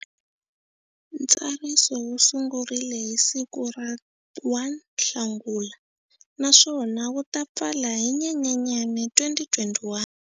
Ntsariso wu sungurile hi siku ra 1 Nhlangula naswona wu ta pfala hi Nyenyenyani 2021.